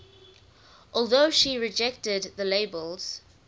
although she rejected the labels